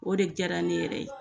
O de diyara ne yɛrɛ ye